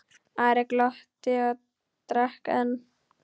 Ari glotti og drakk enn.